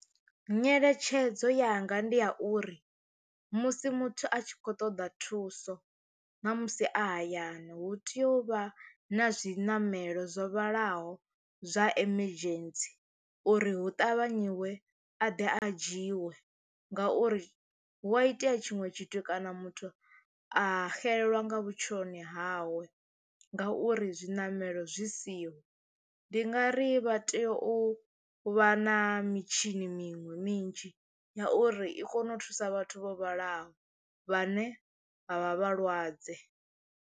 Nyeletshedzo yanga ndi ya uri musi muthu a tshi khou ṱoḓa thuso na musi a hayani hu tea u vha na zwiṋamelo zwo vhalaho zwa emergency uri hu ṱavhanye iwe a ḓe a dzhiwe, ngauri hu a itea tshinwe tshithu kana muthu a xelelwa nga vhutshiloni hawe ngauri zwiṋamelo zwi si siho. Ndi nga ri vha tea u vha na mitshini miṅwe minzhi ya uri i kone u thusa vhathu vho vhalaho vhane vha vha vhalwadze.